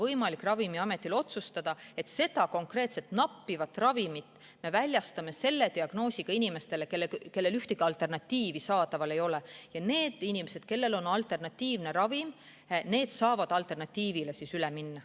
Siis on Ravimiametil võimalik otsustada, et seda konkreetset, nappivat ravimit me väljastame selle diagnoosiga inimestele, kellel ühtegi alternatiivi saadaval ei ole, ja need inimesed, kellel on alternatiivne ravim olemas, saavad alternatiivile üle minna.